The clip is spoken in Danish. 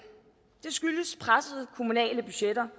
det skyldes pressede kommunale budgetter